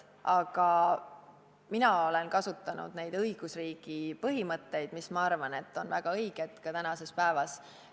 Aga mina olen kasutanud neid õigusriigi põhimõtteid, mis on minu arvates väga õiged ka tänapäeval.